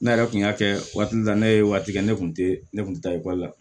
Ne yɛrɛ kun y'a kɛ waati dɔ la ne ye waati kɛ ne kun tɛ ne kun tɛ taa ekɔli la